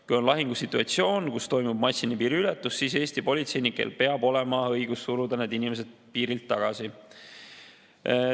Kui on lahingusituatsioon, kus toimub massiline piiriületus, siis Eesti politseinikel peab olema õigus suruda need inimesed piirilt tagasi.